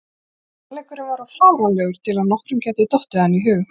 Sannleikurinn var of fáránlegur til að nokkrum gæti dottið hann í hug.